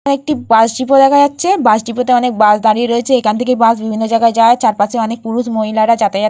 এখানে একটি bus depot দেখা যাচ্ছে বাস ডিপো তে অনেক বাস দাঁড়িয়ে রয়েছে এখান থেকে বাস বিভিন্ন জায়গায় যায়। চারপাশে অনেক পুরুষ মহিলারা যাতায়াত করছে।